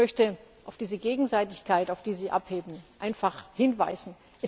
Ich möchte auf diese Gegenseitigkeit, auf die Sie abheben, einfach hinweisen.